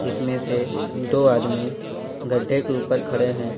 इसमें से दो आदमी गड्ढे के ऊपर खड़े हैं।